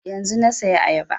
Yanzun na saya ayaba